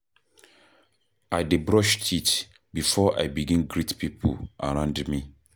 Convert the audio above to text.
I dey brush teeth before I begin greet pipo around me.